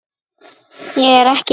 Ég er ekki ein.